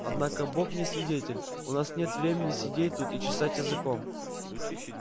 однако бог мне свидетель у нас нет времени сидеть тут и чесать языком